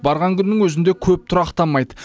барған күннің өзінде көп тұрақтамайды